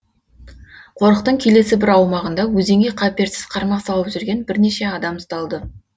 қорықтың келесі бір аумағында өзенге қаперсіз қармақ салып жүрген бірнеше адам ұсталды